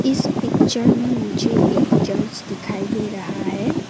इस पिक्चर में मुझे एक चर्च दिखाई दे रहा है।